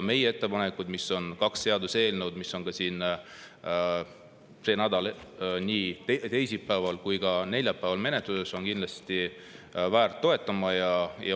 Meie ettepanekud ehk kaks seaduseelnõu, mis on see nädal nii teisipäeval kui ka neljapäeval, on kindlasti toetamist väärt.